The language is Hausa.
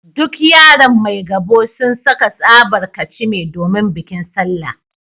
Duk yaran Maigabo sun saka tsabar kachime domin bikin Sallah